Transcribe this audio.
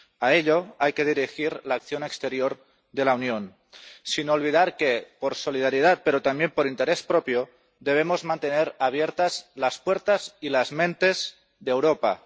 A ello hay que dirigir la acción exterior de la Unión, sin olvidar que, por solidaridad, pero también por interés propio, debemos mantener abiertas las puertas y las mentes de Europa.